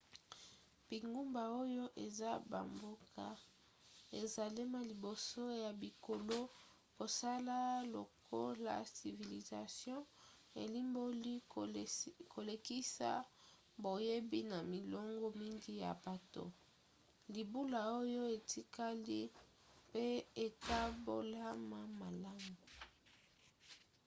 bingumba oyo eza bamboka esalema liboso ya bikolo. kosala lokola civilisation elimboli kolekisa boyebi na milongo mingi ya bato libula oyo etikali mpe ekabolama malamu